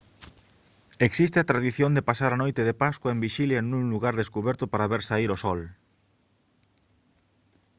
existe a tradición de pasar a noite de pascua en vixilia nun lugar descuberto para ver saír o sol